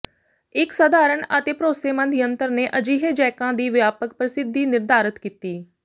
ਇਕ ਸਾਧਾਰਣ ਅਤੇ ਭਰੋਸੇਮੰਦ ਯੰਤਰ ਨੇ ਅਜਿਹੇ ਜੈਕਾਂ ਦੀ ਵਿਆਪਕ ਪ੍ਰਸਿੱਧੀ ਨਿਰਧਾਰਤ ਕੀਤੀ